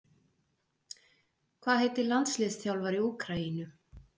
Hvað heitir landsliðsþjálfari Úkraínu?